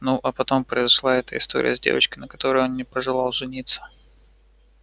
ну а потом произошла эта история с девочкой на которой он не пожелал жениться